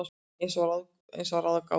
Eins og að ráða gátu.